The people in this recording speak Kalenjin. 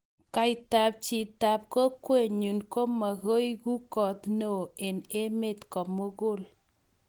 kaitab chitab kokwenyu ko mukueku koot ne oo eng emet komugul